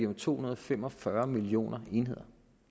om to hundrede og fem og fyrre millioner enheder